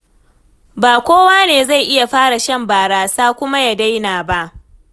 Ba kowa ne zai iya fara shan barasa kuma ya daina ba.